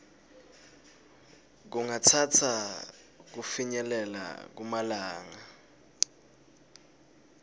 kungatsatsa kufinyelela kumalanga